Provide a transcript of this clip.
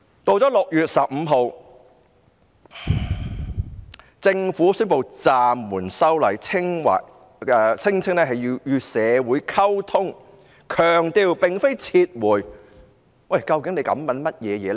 到了6月15日，政府宣布暫緩修例，聲稱要與社會溝通，但強調並非撤回，究竟特首在想甚麼呢？